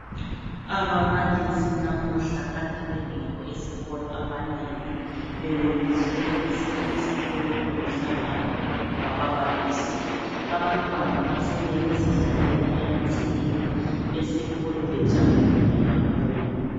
Ababalisi namuhla kade bengekho esikolo abanengi bebebizwe kwesinye isikolo kulomhlangano wababalisi abantwana batshone bezidlalela emagcekeni esikolo bethokozile kakhulu.